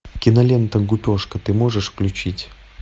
кинолента гупешка ты можешь включить